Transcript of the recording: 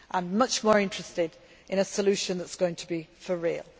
I am much more interested in a solution that is going to be for real.